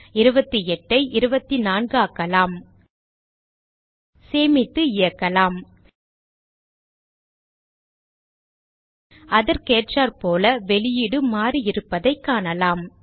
28 ஐ 24 ஆக்கலாம் சேமித்து இயக்கலாம் அதற்கேற்றாற்போல வெளியீடு மாறியிருப்பதைக் காணலாம்